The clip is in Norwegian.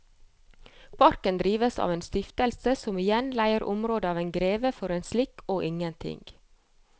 Parken drives av en stiftelse som igjen leier området av en greve for en slikk og ingenting.